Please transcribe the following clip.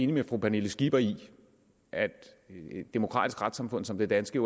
med fru pernille skipper i at et demokratisk retssamfund som det danske